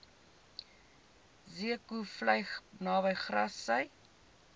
zeekoevlei naby grassy